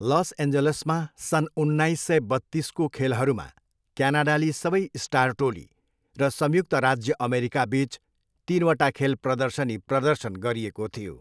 Loss एन्जलसमा सन् उन्नाइस सय बत्तिसको खेलहरूमा क्यानाडाली सबै स्टार टोली र संयुक्त राज्य अमेरिकाबिच तिनवटा खेल प्रदर्शनी प्रदर्शन गरिएको थियो।